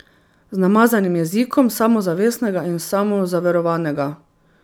Z namazanim jezikom, samozavestnega in samozaverovanega.